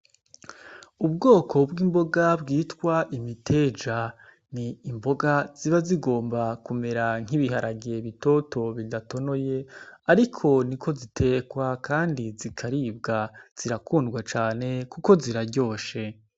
Ubwoko bw'imboga bwitwa imiteja. Ni imboga ziba zigomba kumera nk'ibiharage bitoto bidatonoye ariko niko zitekwa kandi zikaribwa. Zirakundwa cane kuko ziraryoshe.